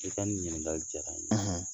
I ka nin ɲinnikali jara n ye